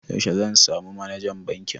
Yaushe zan samu Manajan bankin?